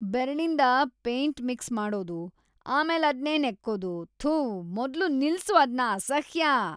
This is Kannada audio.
ಬೆರಳಿಂದ ಪೇಂಟ್ ಮಿಕ್ಸ್ ಮಾಡೋದು, ಆಮೇಲದ್ನೇ ನೆಕ್ಕೋದು.. ಥು, ಮೊದ್ಲು ನಿಲ್ಸು ಅದ್ನ.. ಅಸಹ್ಯ.